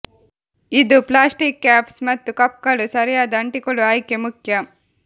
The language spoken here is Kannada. ಇದು ಪ್ಲಾಸ್ಟಿಕ್ ಕ್ಯಾಪ್ಸ್ ಮತ್ತು ಕಪ್ಗಳು ಸರಿಯಾದ ಅಂಟಿಕೊಳ್ಳುವ ಆಯ್ಕೆ ಮುಖ್ಯ